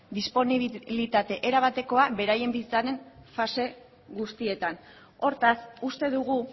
disponibilitate erabatekoa beraien fase guztietan hortaz uste dugu